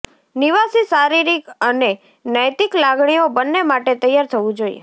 નિવાસી શારીરિક અને નૈતિક લાગણીઓ બંને માટે તૈયાર થવું જોઈએ